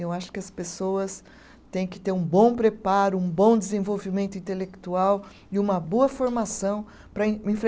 Eu acho que as pessoas têm que ter um bom preparo, um bom desenvolvimento intelectual e uma boa formação para em